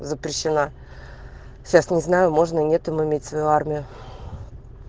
запрещено сейчас не знаю можно нету момент в армию